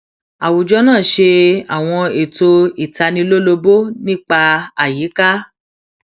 àwùjọ náà ṣe àwọn ètò ìtanilólobó nípa àyíká